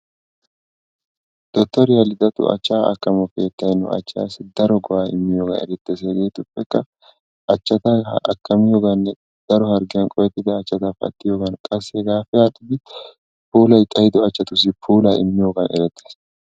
Dottoriyaa Lidettu achcha akkamo keettay nu achchassi daro go'aa immiyooganne erettees hegeetuppekka daro harggiyaan qohettida achchaati pattiyoogan qassi hegappe aadhdhidi puulay xayddo achchatussi puula immiyoogan erettees.